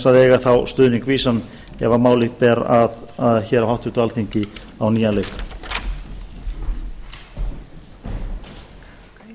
að eiga þá stuðning vísan ef málið ber að hér á háttvirtu alþingi á nýjan leik